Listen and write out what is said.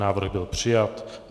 Návrh byl přijat.